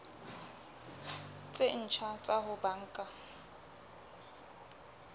tse ntjha tsa ho banka